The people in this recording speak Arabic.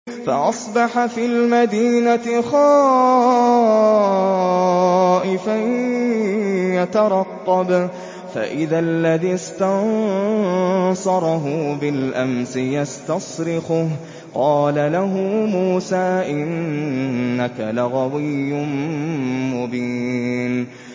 فَأَصْبَحَ فِي الْمَدِينَةِ خَائِفًا يَتَرَقَّبُ فَإِذَا الَّذِي اسْتَنصَرَهُ بِالْأَمْسِ يَسْتَصْرِخُهُ ۚ قَالَ لَهُ مُوسَىٰ إِنَّكَ لَغَوِيٌّ مُّبِينٌ